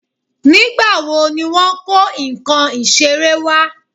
Nígbà wo ni wọ́n kó nǹkan iṣere wa?